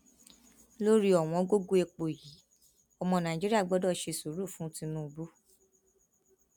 lórí ọwọngógó epo yìí ọmọ nàìjíríà gbọdọ ṣe sùúrù fún tìǹbù